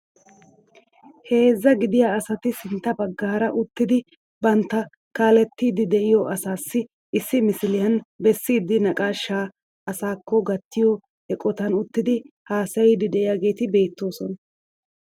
Heezzaa gidiyaa asati sintta baggaara uttidi bantta kaalettiidi de'iyoo asaasi issi misiliyaan bessiidi naqaashshaa asaakko gattiyaa eqotan uttidi hasayiidi de'iyaageti beettoosona.